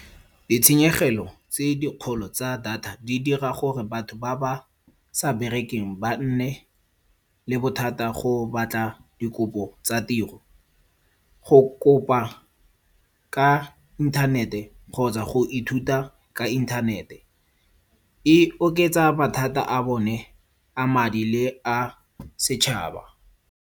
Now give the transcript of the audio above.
Ditshenyegelo tse dikgolo tsa data di dira gore batho ba ba sa berekeng ba nne le bothata go batla dikopo tsa tiro. Go kopa ka inthanete kgotsa go ithuta ka inthanete e oketsa mathata a bone a madi le a setšhaba.